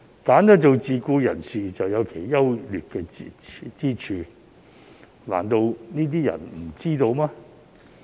選擇做自僱人士，自有其優劣之處，難道這些人不知道嗎？